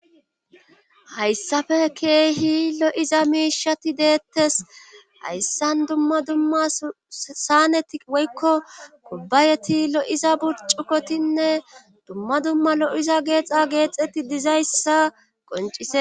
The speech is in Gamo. Hayssafe keehi lo'iza miishati deettes. hayssan dumma dumma saaneti woykko kubbayeti lo'iza burccukotinne dumma dumma lo'iza geexa geexeti dizayssa qonccisees.